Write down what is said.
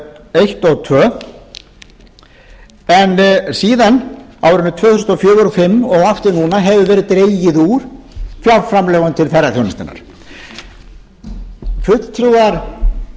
og eins og annað en síðan á árunum tvö þúsund og fjögur og fimm og aftur núna hefur verið dregið úr fjárframlögum til ferðaþjónustunnar fulltrúar